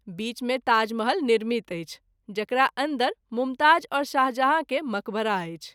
बीच मे ताजमहल निर्मित अछि जकरा अन्दर मुमताज़ और शाहजहाँ के मकबरा अछि।